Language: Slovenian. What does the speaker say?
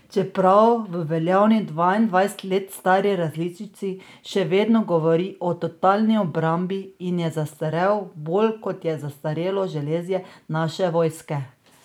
Čeprav v veljavni, dvaindvajset let stari različici še vedno govori o totalni obrambi in je zastarel bolj, kot je zastarelo železje naše vojske...